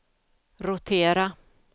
rotera